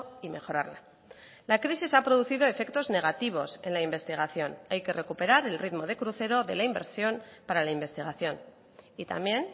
y mejorarla la crisis ha producido efectos negativos en la investigación hay que recuperar el ritmo de crucero de la inversión para la investigación y también